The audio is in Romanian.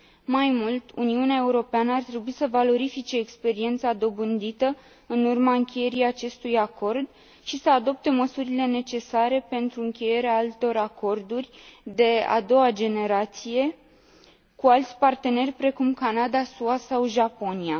Mai mult, Uniunea Europeană ar trebui să valorifice experiența dobândită în urma încheierii acestui acord și să adopte măsurile necesare pentru încheierea altor acorduri de a doua generație cu alți parteneri, precum Canada, SUA sau Japonia.